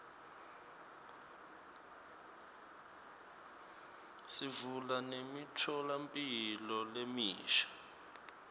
sivula nemitfolamphilo lemisha